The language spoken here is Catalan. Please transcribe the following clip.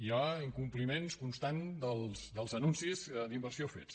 hi ha incompliments constants dels anuncis d’inversió fets